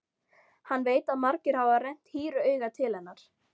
Hann veit að margir hafa rennt hýru auga til hennar.